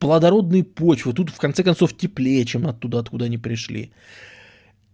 плодородные почвы тут в конце концов теплее чем оттуда откуда они пришли